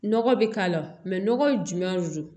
Nɔgɔ bɛ k'a la nɔgɔ ye jumɛn ye